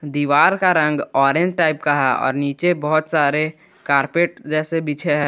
दीवार का रंग ऑरेंज टाइप का है और नीचे बहुत सारे कारपेट जैसे बिछे है।